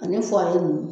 Ani ninnu